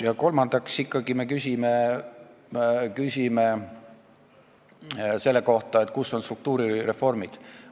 Ja neljandaks me küsime ikkagi seda, kus on struktuurireformid.